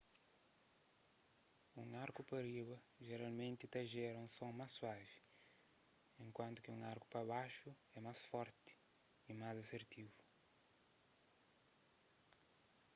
un arku pa riba jeralmenti ta jera un son más suavi enkuantu ki un arku pa baxu é más forti y más asertivu